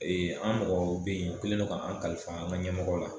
Ee an mɔgɔw bɛ yen o kɛlen do k'an kalifa an ka ɲɛmɔgɔw la.